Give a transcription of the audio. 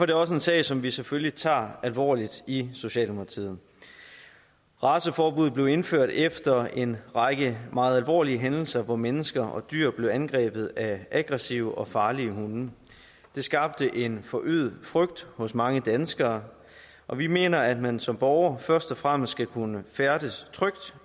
det også en sag som vi selvfølgelig tager alvorligt i socialdemokratiet raceforbuddet blev indført efter en række meget alvorlige hændelser hvor mennesker og dyr blev angrebet af aggressive og farlige hunde det skabte en forøget frygt hos mange danskere og vi mener at man som borger først og fremmest skal kunne færdes trygt